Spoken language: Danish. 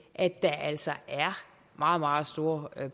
at der altså er meget meget store